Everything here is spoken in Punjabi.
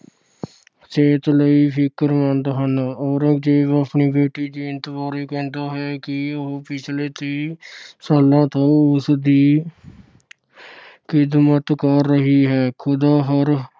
ਸਿਹਤ ਲਈ ਫਿਕਰਮੰਦ ਹਨ। ਔਰੰਗਜ਼ੇਬ ਆਪਣੀ ਬੇਟੀ ਜੀਨਤ ਬਾਰੇ ਕਹਿੰਦਾ ਹੈ ਕਿ ਉਹ ਪਿਛਲੇ ਤੀਹ ਸਾਲਾਂ ਤੋਂ ਉਸਦੀ ਆਹ ਖਿਦਮਤ ਕਰ ਰਹੀ ਹੈ। ਖੁਦਾ ਹਰ